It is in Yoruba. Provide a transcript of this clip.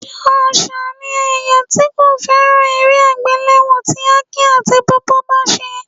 Ṣàṣà ni ẹ̀yà tí kò fẹ́ràn eré àgbéléwò tí Aki àti Pawpaw bá ṣe